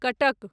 Cuttack